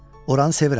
Oranı sevirəm.